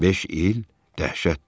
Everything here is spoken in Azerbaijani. Beş il dəhşətdir!